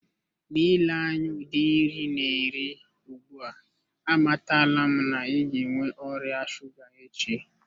N'ile anya udi nri ina eri ugbua amatala m na i ga enwe oria shuga echi.